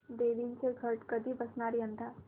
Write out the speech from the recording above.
देवींचे घट कधी बसणार यंदा